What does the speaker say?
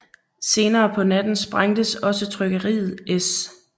Senere på natten sprænges også trykkeriet S